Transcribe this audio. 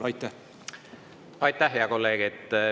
Aitäh, hea kolleeg!